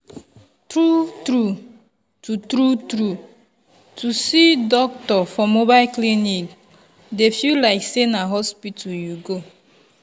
true true to true true to see doctor for mobile clinic dey feel like say na hospital you go.